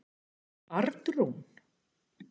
Arnrún